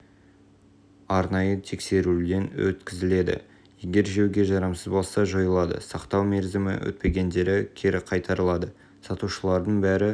арнайы тексеруден өткізіледі егер жеуге жарамсыз болса жойылады сақтау мерзімі өтпегендері кері қайтарылады сатушылардың бәрі